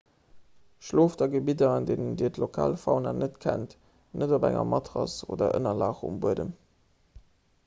schlooft a gebidder an deenen dir d'lokal fauna net kennt net op enger matrass oder ënnerlag um buedem